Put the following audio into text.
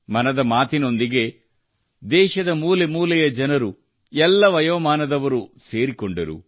ಮನದ ಮಾತು ನೊಂದಿಗೆ ದೇಶದ ಮೂಲೆ ಮೂಲೆಯ ಜನರು ಎಲ್ಲಾ ವಯೋಮಾನದವರು ಸೇರಿಕೊಂಡರು